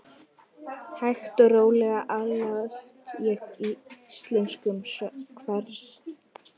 Tveir sona Jóns hafa verið miklir athafnamenn á Eskifirði, þeir